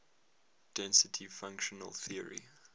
density functional theory